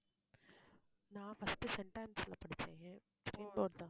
நான் first Saint ஆன்ஸ்ல படிச்சேன் state board தான்